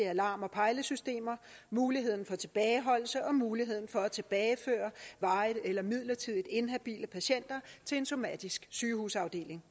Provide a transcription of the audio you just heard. alarm og pejlesystemer muligheden for tilbageholdelse og muligheden for at tilbageføre varigt eller midlertidigt inhabile patienter til en somatisk sygehusafdeling